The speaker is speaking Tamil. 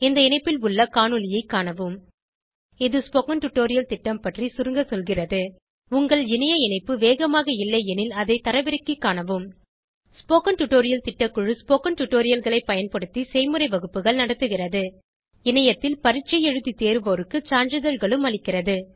இந்த இணைப்பில் உள்ள காணொளியைக் காணவும் இது ஸ்போகன் டுடோரியல் திட்டம் பற்றி சுருங்க சொல்கிறது உங்கள் இணைய இணைப்பு வேகமாக இல்லையெனில் அதை தரவிறக்கிக் காணவும் ஸ்போகன் டுடோரியல் திட்டக்குழு ஸ்போகன் டுடோரியல்களைப் பயன்படுத்தி செய்முறை வகுப்புகள் நடத்துகிறது இணையத்தில் பரீட்சை எழுதி தேர்வோருக்கு சான்றிதழ்களும் அளிக்கிறது